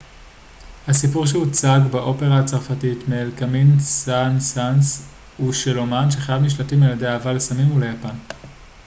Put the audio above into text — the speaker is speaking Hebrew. הסיפור שהוצג באופרה הצרפתית מאת קמיל סן-סאנס הוא של אמן שחייו נשלטים על ידי אהבה לסמים וליפן